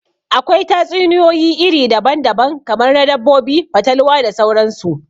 Akwai tatsuniyoyi iri daban daban, kamar na dabbobi, fatalwa da sauran su